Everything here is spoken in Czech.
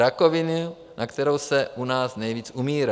Rakoviny, na kterou se u nás nejvíc umírá.